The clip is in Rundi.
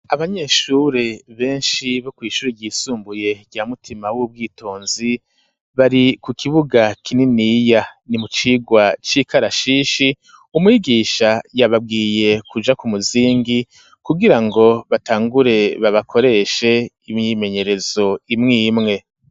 Abanyeshuri beshi bo kw'ishuri ryisumbuye rya mutima wubwitonzi bari ku kibuga kininiya ni mu cirwa c'ikarashishi umwigisha yababwiye kuja ku muzingi kugirango batangure babakoreshe imyimenyerezo imwe n'imwe.